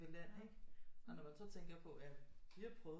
Land ikke og når man så tænker på at vi har prøvet